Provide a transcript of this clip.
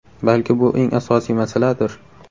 Balki bu eng asosiy masaladir?